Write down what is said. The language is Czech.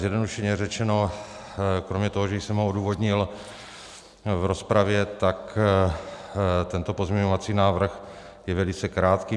Zjednodušeně řečeno kromě toho, že jsem ho odůvodnil v rozpravě, tak tento pozměňovací návrh je velice krátký.